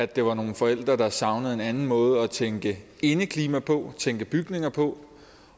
det var nogle forældre der savnede en anden måde at tænke indeklima på og tænke bygninger på